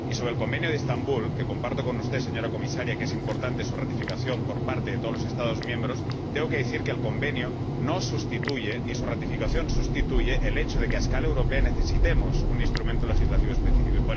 Y sobre el Convenio de Estambul —comparto con usted, señora Comisaria, la opinión de que es importante su ratificación por parte de todos los Estados miembros—, tengo que decir que el Convenio no sustituye, ni su ratificación sustituye el hecho de que a escala europea necesitemos un instrumento legislativo específico.